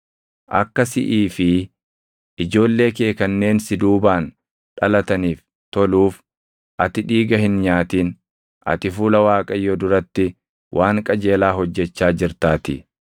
Akka siʼii fi ijoollee kee kanneen si duubaan dhalataniif toluuf ati dhiiga hin nyaatin; ati fuula Waaqayyoo duratti waan qajeelaa hojjechaa jirtaatii.